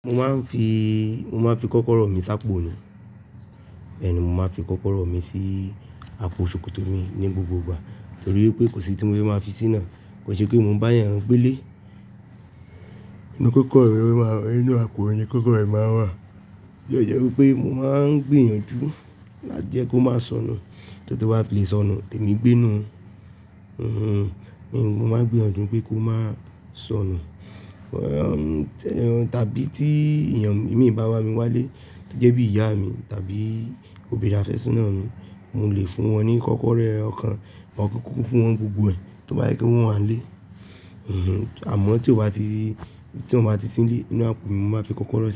Mo máa ń fi, mo máa ń fi kọ́kọ́rọ́ mi ṣàpò ni. Bẹ́ẹ̀ni, mo máa ń fi kọ́kọ́rọ́ mi sí àpò ṣòkòtò mi ní gbogbo ìgbà nítorí pé kò sí tí mo fe máa fi sí nàá́, kò se pe mo bá yàn gbé le. Inú kọ́kọ́rọ́ ẹ máa wà, inú àpò ẹ ni kọ́kọ́rọ́ ẹ máa wà. Yóò jẹ́ pé mo máa ń gbìyànjú láti jẹ́ pé ó máa sọnù, so ti ó bá fi lè sọnù, tèmi gbé nú. Mm-hm, mm-hm, mo máa ń gbìyànjú pé kó máa sọnù. Ti eeyan, tàbí tí èèyàn imi bá wá mi wálé, to jẹ́ bí ìyá mi tàbí òbírin afe soná mi, mo lè fún wọn ní kọ́kọ́rọ́ ọ̀kan, or ki n kiku fún wọn nigbogbo ẹ̀ tí o bá jẹ pe wọn wà n lé. Mm-hm, àmọ́ tí ó bá ti, tí ó bá ti sí ní le inú àpò mi, mo máa n fi kọ́kọ́rọ́ sí.